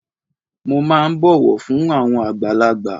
Mo máà ń bọ̀wọ̀ fún àwọn àgbàlagbà.